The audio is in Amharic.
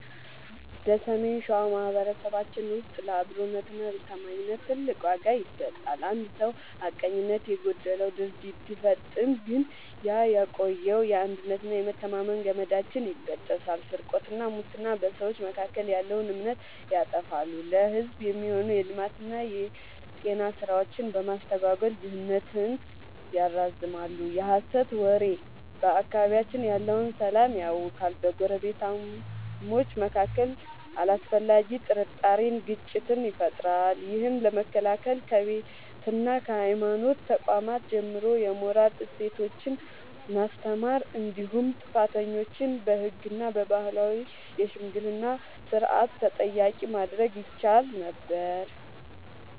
በሰሜን ሸዋ ማኅበረሰባችን ውስጥ ለአብሮነትና ለታማኝነት ትልቅ ዋጋ ይሰጣል። አንድ ሰው ሐቀኝነት የጎደለው ድርጊት ሲፈጽም ግን ያ የቆየው የአንድነትና የመተማመን ገመዳችን ይበጠሳል። ስርቆትና ሙስና፦ በሰዎች መካከል ያለውን እምነት ያጠፋሉ፤ ለሕዝብ የሚሆኑ የልማትና የጤና ሥራዎችን በማስተጓጎል ድህነትን ያራዝማሉ። የሐሰት ወሬ፦ በአካባቢያችን ያለውን ሰላም ያውካል፤ በጎረቤታማቾች መካከል አላስፈላጊ ጥርጣሬንና ግጭትን ይፈጥራል። ይህን ለመከላከል ከቤትና ከሃይማኖት ተቋማት ጀምሮ የሞራል እሴቶችን ማስተማር እንዲሁም ጥፋተኞችን በሕግና በባህላዊ የሽምግልና ሥርዓት ተጠያቂ ማድረግ ይቻል ነበር።